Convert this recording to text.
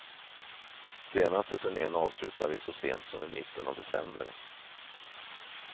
Senaste turnen avslutade vi så sent som i mitten av december.